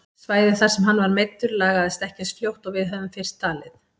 Svæðið þar sem hann var meiddur lagaðist ekki eins fljótt og við höfðum fyrst talið.